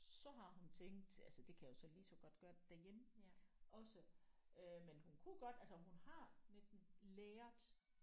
Så har hun tænkt altså det kan jeg jo så lige så godt gøre det derhjemme også øh men hun kunne godt altså hun har næsten lært